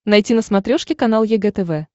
найти на смотрешке канал егэ тв